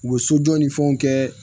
U bɛ sojɔ ni fɛnw kɛ